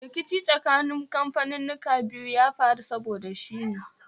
Rikici tsakanin kamfaninnika biyun ya faru saboda shi ne